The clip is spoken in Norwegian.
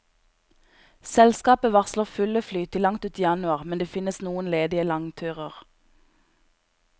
Selskapet varsler fulle fly til langt ut i januar, men det finnes noen ledige langturer.